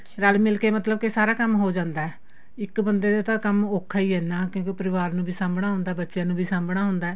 ਰਲ ਮਿਲ ਕੇ ਮਤਲਬ ਕੀ ਸਾਰਾ ਕੰਮ ਹੋ ਜਾਂਦਾ ਇੱਕ ਬੰਦੇ ਤੇ ਕੰਮ ਔਖਾ ਈ ਏ ਨਾ ਕਿਉਂਕਿ ਪਰਿਵਾਰ ਵੀ ਸਾਂਭਣਾ ਹੁੰਦਾ ਬੱਚਿਆਂ ਨੂੰ ਵੀ ਸਾਂਭਣਾ ਹੁੰਦਾ